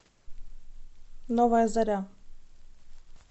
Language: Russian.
новая заря